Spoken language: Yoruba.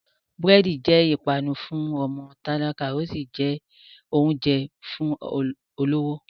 Búrẹ́dì jẹ́ ìpanu fún ọmọ tálákà, ó sì jẹ oúnjẹ fún olówó.